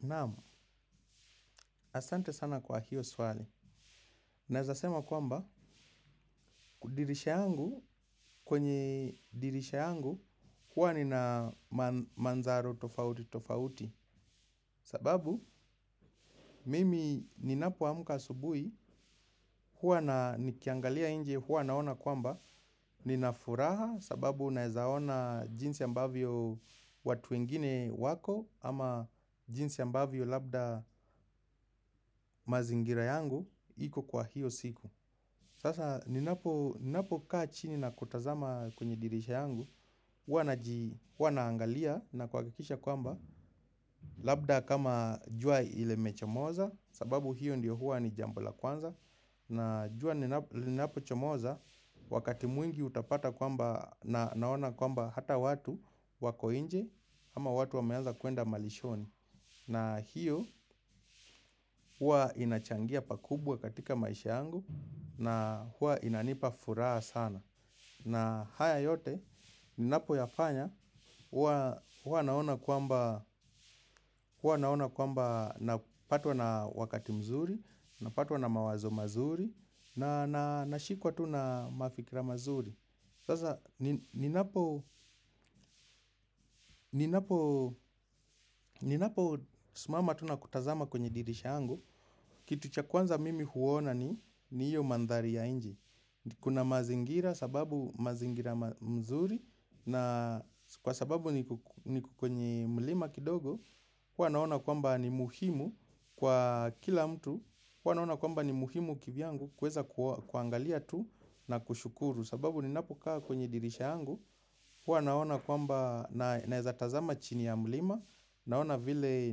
Naamu, asante sana kwa hiyo swali. Nezasema kwamba, dirisha yangu, kwenye dirisha yangu, huwa nina manzaro tofauti tofauti. Sababu, mimi ninapo amka asubuhi hua nikiangalia nje, hua naona kwamba, ninafuraha sababu naezaona jinsi ambavyo watu wengine wako, ama jinsi ambavyo labda mazingira yangu, iko kwa hiyo siku. Sasa ninapo kaa chini na kutazama kwenye dirisha yangu, huanaangalia na kuhakikisha kwamba labda kama jua ile mechomoza sababu hiyo ndio hua ni jambo la kwanza na jua linapo chomoza wakati mwingi utapata kwamba naona kwamba hata watu wako nje ama watu wameanza kuenda malishoni. Na hiyo, hua inachangia pakubwa katika maisha yangu na hua inanipa furaha sana. Na haya yote, ninapo yafanya, hua naona kwamba napatwa na wakati mzuri, napatwa na mawazo mazuri, na nashikuwa tu na mafikra mazuri. Sasa ninapo ninapo simama tu na kutazama kwenye dirisha yangu. Kitu cha kwanza mimi huona ni hio mandhari ya nje. Kuna mazingira sababu mazingira mzuri na kwa sababu niko kwenye mlima kidogo huwa naona kwamba ni muhimu kwa kila mtu huwa naona kwamba ni muhimu kivyangu kuweza kuangalia tu na kushukuru. Sababu ninapo kaa kwenye dirisha yangu huwa naona kwamba, naezatazama chini ya mlima, naona vile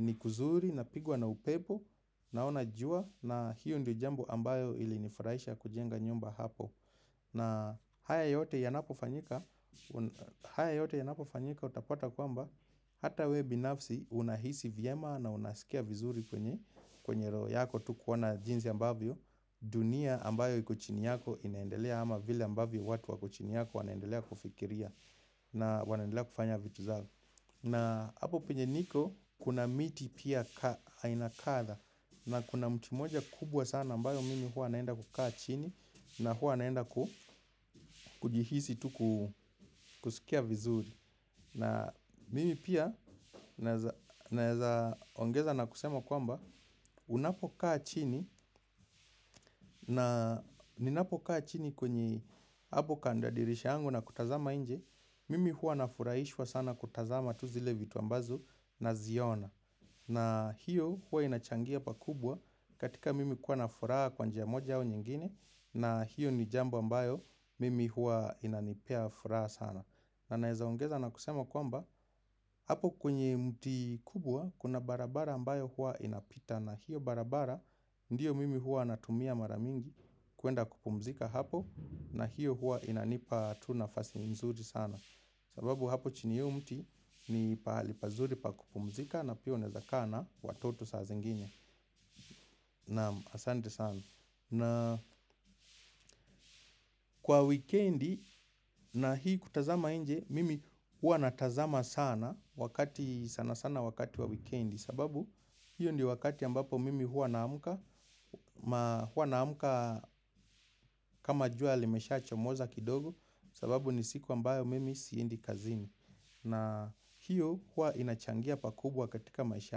nikuzuri, napigwa na upepo, naona jua, na hiyo ndio jambo ambayo ili nifurahisha kujenga nyumba hapo. Na haya yote yanapo fanyika, haya yote yanapo fanyika, utapata kwamba, hata we binafsi, unahisi vyema na unasikia vizuri kwenye, kwenye roho yako tu kuona jinsi ambavyo. Dunia ambayo kuchini yako inaendelea ama vile ambavyo watu wako chini yako wanaendelea kufikiria. Na wanaendelea kufanya vitu zao. Na hapo pinye niko kuna miti pia hainakatha. Na kuna mti moja kubwa sana ambayo mimi hua naenda kukaa chini. Na hua naenda kujihisi tuku kusikia vizuri. Na mimi pia naeza ongeza na kusema kwamba unapo kaa chini. Na ninapo kaa chini kwenye hapo kando ya dirisha yangu na kutazama nje. Mimi hua na furahishwa sana kutazama tu zile vitu ambazo na ziona. Na hiyo hua inachangia pa kubwa katika mimi kuwa na furaha kwa njia moja au nyingine. Na hiyo ni jambo ambayo mimi hua inanipea furaha sana. Na naezaongeza na kusema kwamba hapo kwenye mti kubwa kuna barabara ambayo hua inapita. Na hiyo barabara ndiyo mimi hua natumia maramingi kuenda kupumzika hapo. Na hiyo hua inanipa tu nafasi nzuri sana. Sababu hapo chini ya hio mti ni pahali pazuri pakupumzika na pia unaeza kaa na watoto saa zingine naam asante sana. Na kwa weekendi na hii kutazama nje mimi hua natazama sana wakati sana sana wakati wa weekendi. Sababu hiyo ndio wakati ambapo mimi hua naamka. Ma hua naamka kama jua limesha chomoza kidogo sababu nisiku ambayo mimi siendi kazini. Na hiyo hua inachangia pakubwa katika maisha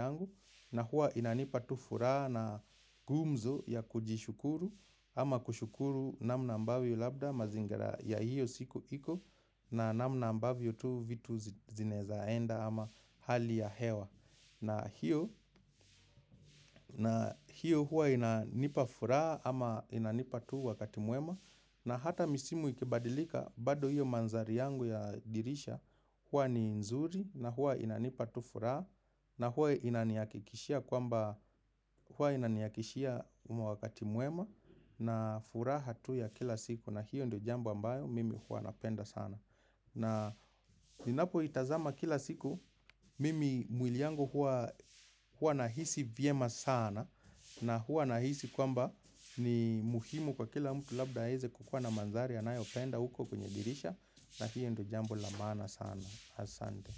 yangu na hua inanipa tu furaha na gumzo ya kujishukuru ama kushukuru namna ambavyo labda mazingira ya hiyo siku iko na namna ambavyo tu vitu zinezaenda ama hali ya hewa. Na hiyo huwa inanipa furaha ama inanipa tu wakati mwema na hata misimu ikibadilika bado hiyo manzari yangu ya dirisha huwa ni nzuri na huwa inanipa tu furaha na huwa inaniahakikishia kwamba huwa inaniakishia umo wakati mwema na furaha tu ya kila siku na hiyo ndio jamba ambayo mimi huwa napenda sana. Na ninapo itazama kila siku mimi mwili yangu hua nahisi vyema sana. Na hua nahisi kwamba ni muhimu kwa kila mtu labda aeze kukua na mandhari anayopenda huko kwenye dirisha na hiyo ndio jambo la maana sana. Asante.